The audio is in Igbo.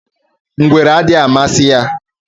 Ngwere adịghị amasị ha